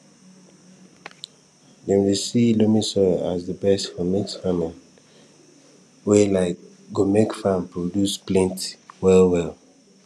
dem dey see loamy soil as di best for mixed farming wey um go make farm produce plenty well well